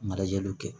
Marajaliw kɛ